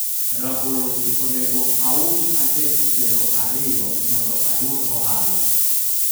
rabolo gi onego aus adek piero ariyo mondo ayud ohala